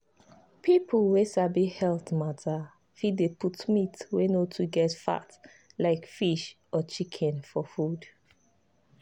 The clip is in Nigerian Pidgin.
people wey sabi health matter fit dey put meat wey no too get fat like fish or chicken for food.